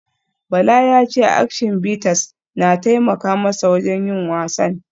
Bala ya ce Action Bitters na taimaka masa wajen yin wasan